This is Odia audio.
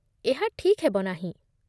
ଏହା ଠିକ୍ ହେବ ନାହିଁ